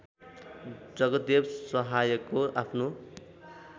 जगदेव सहायको आफ्नो